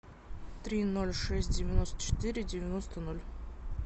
три ноль шесть девяносто четыре девяносто ноль